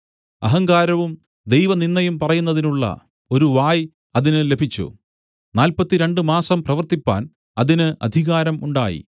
അഹങ്കാരവും ദൈവനിന്ദയും പറയുന്നതിനുള്ള ഒരു വായ് അതിന് ലഭിച്ചു നാല്പത്തിരണ്ട് മാസം പ്രവർത്തിപ്പാൻ അതിന് അധികാരം ഉണ്ടായി